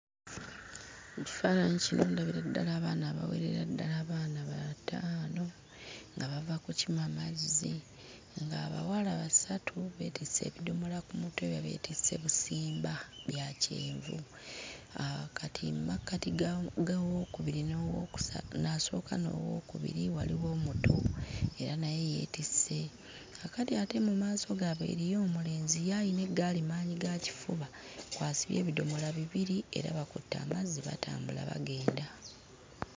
Mu kifaananyi kino ndabira ddala abaana abawerera ddala abaana bataano nga bava kukima mazzi ng'abawala basatu beetisse ebidomola ku mutwe babyetisse busimba bya kyenvu aa kati mmakkati gaawo gaawookubiri n'owookusatu n'asooka n'owookubiri waliwo omuto era naye yeetisse, kaakati ate mu maaso gaabwe eriyo omulenzi ayina eggaali maanyigakifuba kw'asibye ebidomola bibiri era bakutte amazzi batambula bagenda.